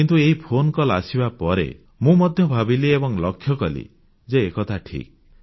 କିନ୍ତୁ ଏହି ଫୋନକଲ୍ ଆସିବା ପରେ ମୁଁ ମଧ୍ୟ ଭାବିଲି ଏବଂ ଲକ୍ଷ୍ୟକଲି ଯେ ଏକଥା ଠିକ୍